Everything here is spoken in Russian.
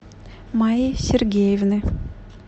майи сергеевны